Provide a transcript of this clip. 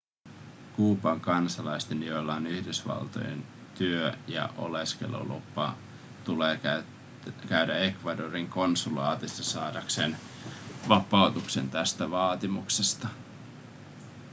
kuuban kansalaisten joilla on yhdysvaltojen työ- ja oleskelulupa tulee käydä ecuadorin konsulaatissa saadakseen vapautuksen tästä vaatimuksesta